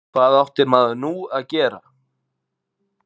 Hvað átti maður nú að gera?